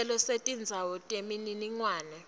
sicelo setindzawo temininingwane